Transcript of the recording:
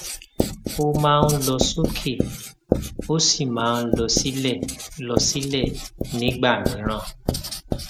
ó máa ń lọ sókè ó sì máa ń lọ sílẹ lọ sílẹ nìgbà mìíràn